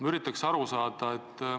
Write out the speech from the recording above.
Ma üritan aru saada.